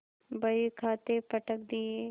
बहीखाते पटक दिये